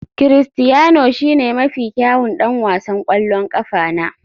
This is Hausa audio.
Critiano shine mafi kyawun ɗan wasan ƙwallon ƙafa na.